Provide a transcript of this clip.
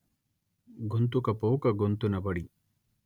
గొంతుకపోక గొంతునబడి